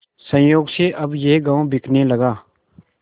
संयोग से अब यह गॉँव बिकने लगा